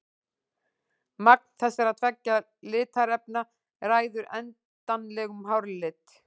Magn þessara tveggja litarefna ræður endanlegum hárlit.